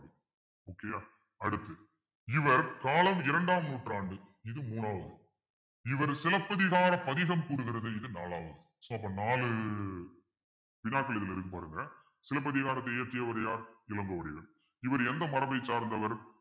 காலம் இரண்டாம் நூற்றாண்டில் இது மூணாவது இவர் சிலப்பதிகார பதிகம் கூறுகிறது இது நாலாவது so அப்ப நாலு பாருங்க சிலப்பதிகாரத்தை இயற்றியவர் யார் இளங்கோவடிகள் இவர் எந்த மரபைச் சார்ந்தவர்